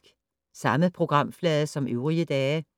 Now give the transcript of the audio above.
Samme programflade som øvrige dage